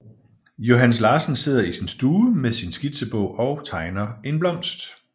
Johannes Larsen sidder i sin stue med sin skitseblok og tegner en blomst